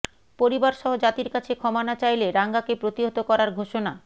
পরিবারসহ জাতির কাছে ক্ষমা না চাইলে রাঙ্গাকে প্রতিহত করার ঘোষণা